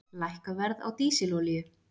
Lækka verð á dísilolíu